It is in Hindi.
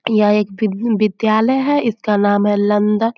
यह एक विद्यालय है। इसका नाम है लंगट।